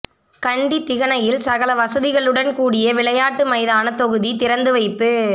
கண்டி திகனயில் சகல வசதிகளுடன் கூடிய விளையாட்டு மைதான தொகுதி திறந்து வைப்பு